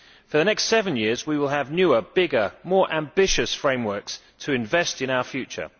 For the next seven years we will have newer, bigger, more ambitious frameworks to invest in our future